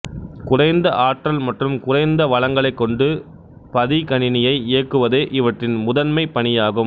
குறைந்த ஆற்றல் மற்றும் குறைந்த வளங்களைக் கொண்டு பதிகணினியை இயக்குவதே இவற்றின் முதண்மைப் பணியாகும்